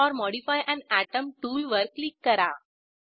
add or modify an atom टूलवर click करा